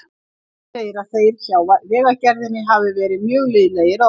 Bettý segir að þeir hjá Vegagerðinni hafi verið mjög liðlegir að opna.